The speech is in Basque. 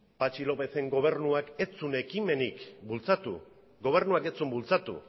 patxi lópezen gobernuak ez zuen ekimenik bultzatu gobernuak ez zuen bultzatu